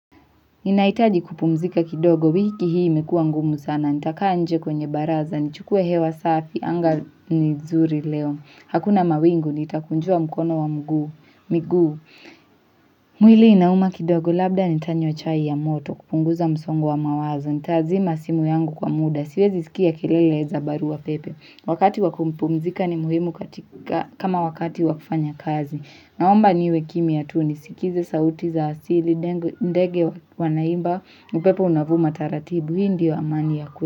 Ninahitaji kupumzika kidogo, wiki hii imekuwa ngumu sana, nitakaa nje kwenye baraza, nichukue hewa safi, anga nizuri leo, hakuna mawingu, nitakunjua mkono na miguu. Mwili inauma kidogo, labda nitanywa chai ya moto, kupunguza msongo wa mawazo, nitazima simu yangu kwa muda, siwezi sikia kelelenza baruapepe. Wakati wa kumpumzika ni muhimu kama wakati wakufanya kazi. Naomba niwe kimia tu ni sikize sauti za asili, ndege wanaimba, upepo unavuma taratibu, hii ndio wa amani ya kwetu.